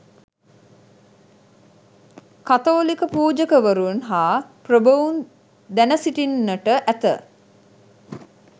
කතෝලික පූජකවරුන් හා ප්‍රභූන් දැන සිටින්නට ඇත.